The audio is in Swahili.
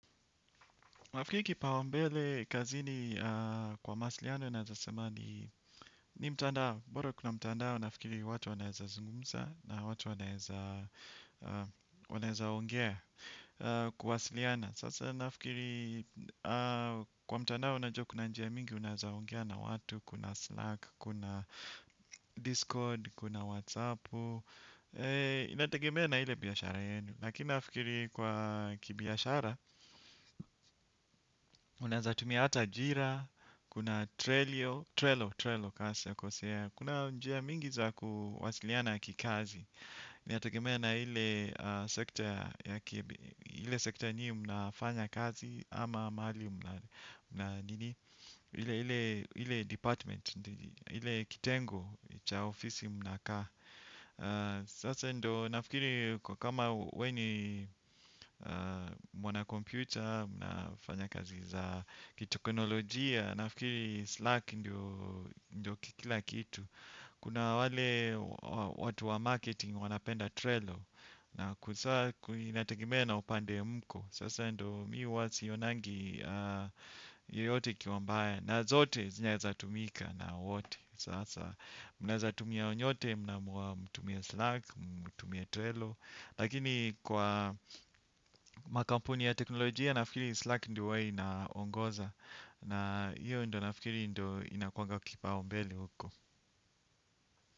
Mwafikiri kipaumbele kazini kwa mawasiliano naeza seme ni mtandao. Bora kuna mtandao nafikiri watu wanaeza zungumza na watu wanezaongea kuwasiliana. Sasa nafikiri kwa mtandao najua kuna njia mingi unaeza ongea na watu, kuna Slack, kuna Discord, kuna WhatsApp. Inategemea na ile biashara yenu. Lakini nafikiri kwa kibiashara, unaeza tumia hata jira, kuna trelo kaa sijakosea. Kuna njia mingi za kuwasiliana kikazi inategemeana ile sekta nyi mnafanya kazi ama mali na nini. Ile department, ile kitengo cha ofisi mnakaa. Sasa ndo nafikiri kwa kama we ni mwana computer, mnafanya kazi za kiteknolojia, nafikiri Slack ndio kikila kitu. Kuna wale watu wa marketing wanapenda Trello na kusaa inategemea upande mko. Sasa ndo mimi huwa sionangi yoyote ikiwa mbaya na zote zinaezatumika na wote. Sasa, mnaeza tumia nyote, mnaamua mtumie Slack, mtumie Trello. Lakini kwa makampuni ya teknolojia, nafikiri Slack ndio huwa inaongoza. Na hiyo ndo nafikiri ndio inakuanga kipaumbele huko.